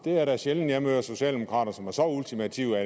er da sjældent jeg møder socialdemokrater som er så ultimative